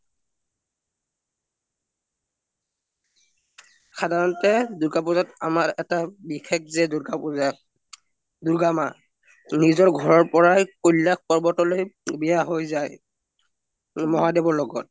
সাধাৰণতে দুৰ্গা পুজাত আমাৰ এটা বিশেস জে দুৰ্গা পুজাৰ দুৰ্গা মা নিজৰ ঘৰৰ পৰাই কৈলশ পৰ্ৱত ৱ্যস হৈ জাই মহদেৱৰ লগত